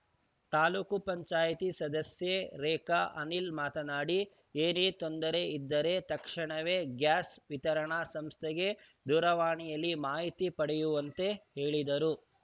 ತಾಲೂಕ್ ಪಂಚಾಯಿತಿ ಸದಸ್ಯೆ ರೇಖಾ ಅನಿಲ್‌ ಮಾತನಾಡಿ ಏನೇ ತೊಂದರೆ ಇದ್ದರೆ ತಕ್ಷಣವೇ ಗ್ಯಾಸ್‌ ವಿತರಣಾ ಸಂಸ್ಥೆಗೆ ದೂರವಾಣಿಯಲ್ಲಿ ಮಾಹಿತಿ ಪಡೆಯುವಂತೆ ಹೇಳಿದರು